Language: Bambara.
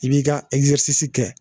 I b'i ka kɛ